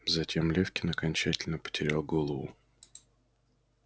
затем лефкин окончательно потерял голову